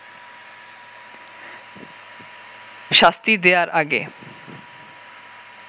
শাস্তি দেয়ার আগে